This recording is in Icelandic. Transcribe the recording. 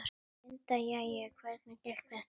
Linda: Jæja, hvernig gekk þetta?